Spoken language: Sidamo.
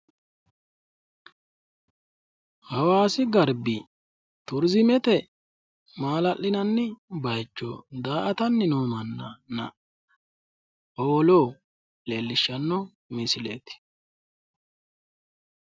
hawaasi garbi turiizimete maala'linanni bayiichona daa''atanni noo mannanna howolo leellishshanno misileeti.